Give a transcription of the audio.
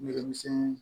Yɛrɛmisɛn